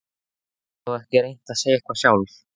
Gastu þá ekki reynt að segja eitthvað sjálf?